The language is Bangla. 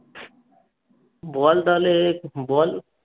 বল তাহলে বল